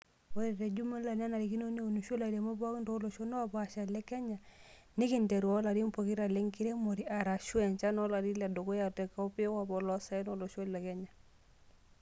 Ore tejumula nenarikino neunisho ilairemok pooki tooloshon oopasha le Kenya, tenkiteru oo larin pokira lenkiremore, arashu enchan olari ledukuya tekopikop oloosaen lolosho le Kenya.